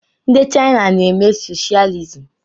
Ndi Chaina na-eme socialism.